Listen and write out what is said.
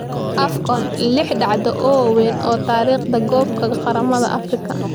AFCON: Lix dhacdo oo waaweyn oo taariikhda koobka qaramada Afrika